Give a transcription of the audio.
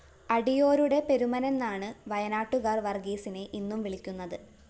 അടിയോരുടെ പെരുമനെന്നാണ് വയനാട്ടുകാര്‍ വര്‍ഗീസിനെ ഇന്നും വിളിക്കുന്നത്